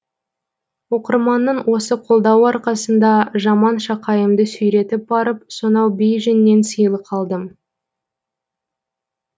оқырманның осы қолдауы арқасында жаман шақайымды сүйретіп барып сонау бейжиңнен сыйлық алдым